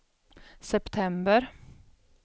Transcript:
september